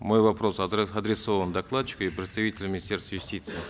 мой вопрос адресован докладчику и представителю министерства юстиции